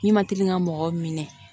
Ne ma deli ka mɔgɔw minɛ